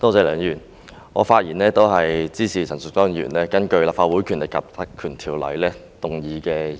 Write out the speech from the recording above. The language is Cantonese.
梁議員，我發言支持陳淑莊議員根據《立法會條例》動議的議案。